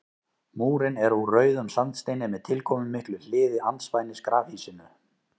Múrinn er úr rauðum sandsteini með tilkomumiklu hliði andspænis grafhýsinu.